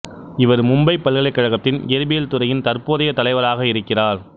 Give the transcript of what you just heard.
இவர் மும்பை பல்கலைக்கழகத்தின் இயற்பியல் துறையின் தற்போதைய தலைவராக இருக்கிறார்